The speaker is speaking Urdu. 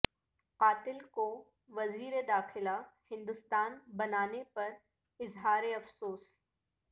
قاتل کو وزیر داخلہ ہندوستان بنانے پر اظہار افسوس